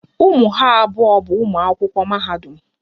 Ụmụ ha abụọ bụ ụmụ akwụkwọ mahadum